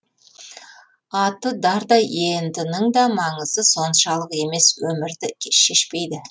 аты дардай ент ның да маңызы соншалық емес өмірді шешпейді